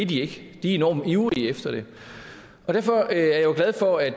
de er enormt ivrige efter det og derfor er jeg jo glad for at